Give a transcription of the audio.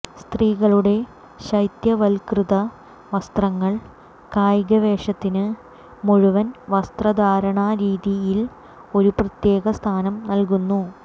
സ്ത്രീകളുടെ ശൈത്യവൽക്കൃത വസ്ത്രങ്ങൾ കായിക വേഷത്തിന് മുഴുവൻ വസ്ത്രധാരണരീതിയിൽ ഒരു പ്രത്യേക സ്ഥാനം നൽകുന്നു